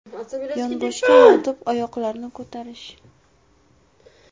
Yonboshga yotib oyoqlarni ko‘tarish.